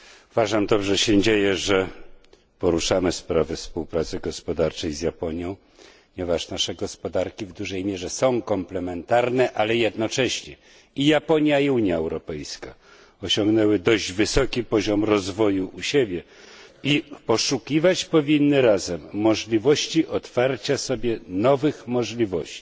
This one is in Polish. Uważam, że dobrze się dzieje, że poruszamy sprawy współpracy gospodarczej z Japonią, ponieważ nasze gospodarki w dużej mierze są komplementarne, ale jednocześnie i Japonia, i Unia Europejska osiągnęły dość wysoki poziom rozwoju u siebie i powinny poszukiwać razem możliwości otwarcia przed sobą nowych możliwości.